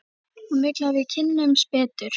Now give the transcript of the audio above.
Hún vill að við kynnumst betur.